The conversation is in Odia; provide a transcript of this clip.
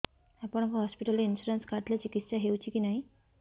ଆପଣଙ୍କ ହସ୍ପିଟାଲ ରେ ଇନ୍ସୁରାନ୍ସ କାର୍ଡ ଥିଲେ ଚିକିତ୍ସା ହେଉଛି କି ନାଇଁ